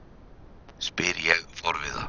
spyr ég forviða.